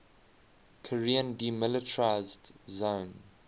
korean demilitarized zone